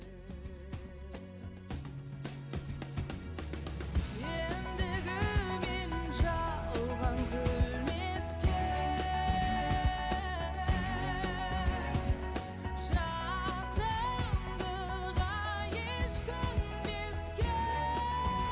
ендігі мен жалған күлмеске жасымдыға еш көнбеске